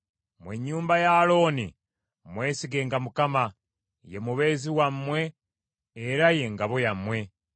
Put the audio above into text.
Mmwe ennyumba ya Alooni mwesigenga Mukama , ye mubeezi wammwe era ye ngabo yammwe.